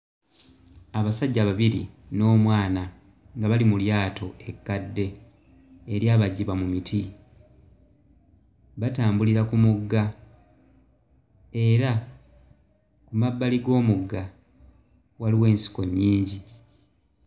Abasajja babiri n'omwana nga bali mu lyato ekkadde, eryabajjibwa mu miti. Batambulira ku mugga era mmabali g'omugga waliwo ensiko nnyingi.